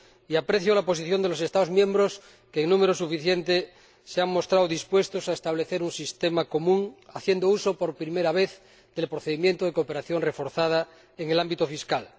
Y aprecio la posición de los Estados miembros que en número suficiente se han mostrado dispuestos a establecer un sistema común haciendo uso, por primera vez, del procedimiento de cooperación reforzada en el ámbito fiscal.